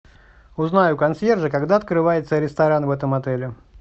узнай у консьержа когда открывается ресторан в этом отеле